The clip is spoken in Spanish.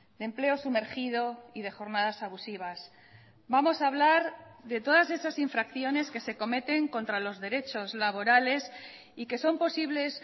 de empleo sumergido y de jornadas abusivas vamos a hablar de todas esas infracciones que se cometen contra los derechos laborales y que son posibles